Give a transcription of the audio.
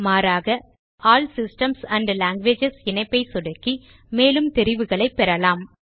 மாறாக all systems and languages இணைப்பை சொடுக்கி மேலும் தெரிவுகளைப் பெறலாம்